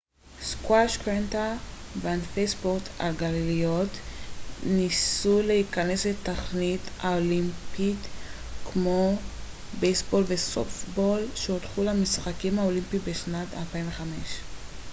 סקווש קרטה וענפי ספורט על גלגיליות ניסו להיכנס לתוכנית האולימפית כמו גם בייסבול וסופטבול שהודחו מהמשחקים האולימפיים בשנת 2005